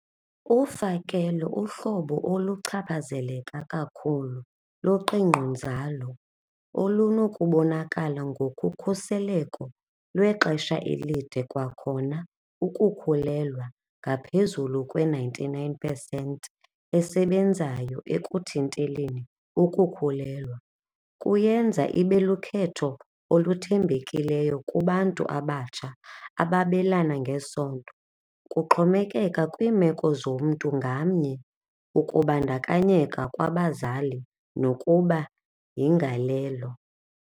Ufakelo uhlobo oluchaphazeleka kakhulu luqingqonzalo olunokubonakala ngokukhuseleko lwexesha elide kwakhona ukukhulelwa ngaphezulu kwe-ninety-nine percent esebenzayo ekuthinteleni ukukhulelwa. Kuyenza ibe lukhetho oluthembekileyo kubantu abatsha ababelana ngesondo, kuxhomekeka kwiimeko zomntu ngamnye, ukubandakanyeka kwabazali nokuba yingalelo.